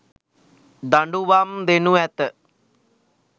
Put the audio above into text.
දඩුවම් දෙනු ඇත.